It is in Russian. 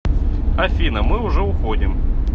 афина мы уже уходим